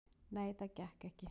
"""Nei, það gekk ekki."""